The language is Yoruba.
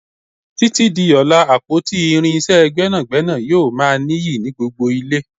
Títí di ọlá, àpótí irinsé gbẹ́nàgbẹ́nà yóò ma niyi ni gbogbo ile.